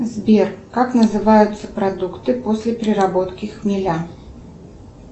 сбер как называются продукты после переработки хмеля